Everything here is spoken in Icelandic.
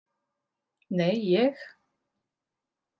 Nei, ég.